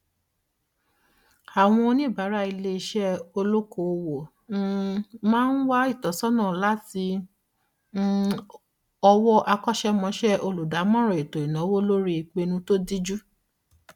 àwọn oníbàárà iléeṣé olókoòwò um máa wá ìtọsọnà láti um ọwọ akọṣẹmọṣẹ olùdámọràn ètò ìnáwó lórí ìpinu tó díjú